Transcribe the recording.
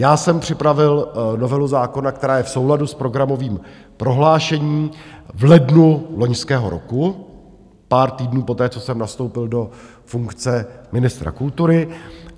Já jsem připravil novelu zákona, která je v souladu s programovým prohlášením, v lednu loňského roku, pár týdnů poté, co jsem nastoupil do funkce ministra kultury.